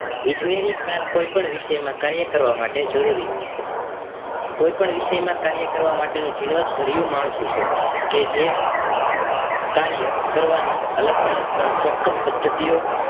ઈજનેરી જ્ઞાન કોઈ પણ વિષય માં કાર્ય કરવા માટે જરૂરી હોય છે કોઈ પણ વિષય માં કાર્ય કરવા માટે જીણવટ ભર્યું માળખું છે કે જે કાર્ય કરવાની અલગ અલગ પણ ચોક્કસ પદ્ધતિઓ